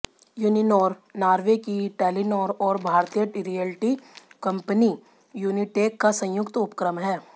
Uninor Norway की Telenor और भारतीय रियल्टी कंपनी यूनिटेक का संयुक्त उपक्रम है